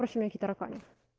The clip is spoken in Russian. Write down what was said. тараканы